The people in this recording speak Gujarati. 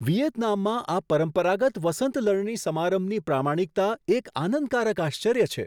વિયેતનામમાં આ પરંપરાગત વસંત લણણી સમારંભની પ્રામાણિકતા એક આનંદકારક આશ્ચર્ય છે.